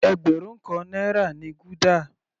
Ẹgbẹrun kan náírà ni gúdà.